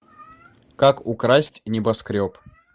как украсть небоскреб